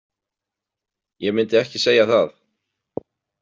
Ég myndi ekki segja það.